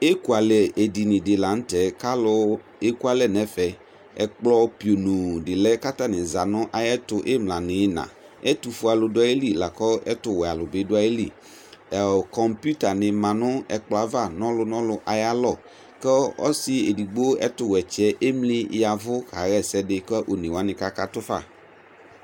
ɛkωɑlɛ ɛɗiniɖilɑɲutɛ kɑlu ɛkuɑlɛɲɛfɛ ɛkplɔ pionodilɛ ƙɑtɑni zɑti ĩmlɑ nu ĩyiɲɑ ɛtufuɛɑlu ɗuɑyili lɑku ɛtuwɛɑlubi ɗωɑyili kompitɑni mɑ ɲɛkploɑvɑ ɲɔluɲɔlu ɑyɑlõ ku ɔsiɛɗigbo ɛtuwétsiɛ ɛmliyɛvω kɑhésɛdi kɑluoɲéwɑni kɑkɑtωfɑ